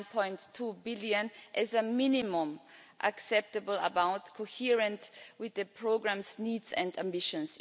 9.2 billion as a minimum acceptable amount consistent with the programme's needs and ambitions.